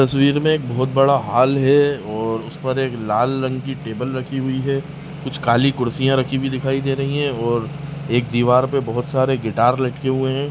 तस्वीर में एक बहोत बड़ा हॉल है और उस पर एक लाल रंग की टेबल रखी हुई है कुछ काली कुर्सियां रखी हुई दिखाई दे रही हैं और एक दीवार पर बहोत सारे गिटार लटके हुए हैं।